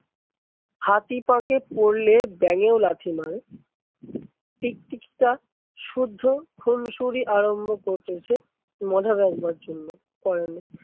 হাতি পাঁকে পরলে ব্যাঙেও লাথি মারে। টিকটিকিটা শুদ্ধ খুনসুরি আরম্ভ দেখবার জন্য